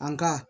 An ka